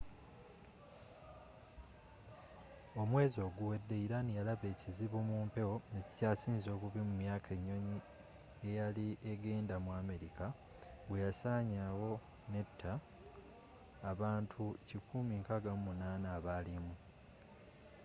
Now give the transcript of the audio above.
omwezi oguwedde iran yalaba ekizibu mu mpewo ekikyasinze obubi mu myaka ennyonyi eyali egenda mu america bwe yasaanawo netta abantu 168 abaalimu